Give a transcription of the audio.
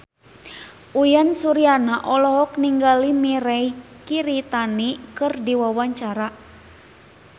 Uyan Suryana olohok ningali Mirei Kiritani keur diwawancara